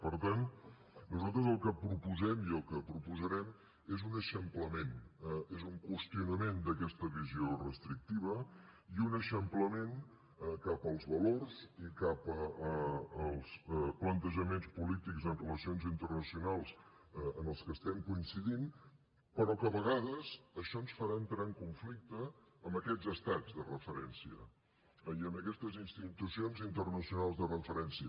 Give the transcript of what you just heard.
per tant nosaltres el que proposem i el que proposarem és un eixamplament és un qüestionament d’aquesta visió restrictiva i un eixamplament cap als valors i cap als plantejaments polítics en relacions internacionals en què estem coincidint però que a vegades això ens farà entrar en conflicte amb aquests estats de referència i amb aquestes institucions internacionals de referència